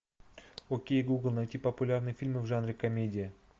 окей гугл найти популярные фильмы в жанре комедия